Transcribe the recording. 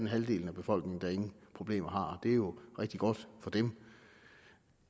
halvdelen af befolkningen ingen problemer har det er jo rigtig godt for dem